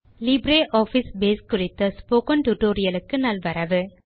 LibreOffice Base குறித்த spoken tutorial க்கு நல்வரவு